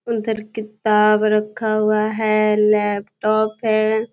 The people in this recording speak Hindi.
उधर किताब रखा हुआ है लैपटॉप है।